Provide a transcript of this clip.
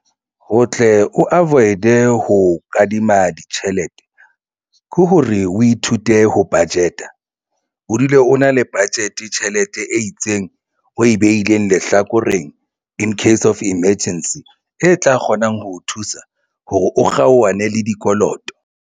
Ho tle o avoid-e ho kadima ditjhelete ke hore o ithute ho budget-a o dule o na le budget tjhelete e itseng o e beileng lehlakoreng incase of emergency e tla kgonang ho o thusa hore o kgaohane le dikoloto.